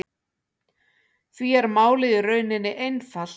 Því er málið í rauninni einfalt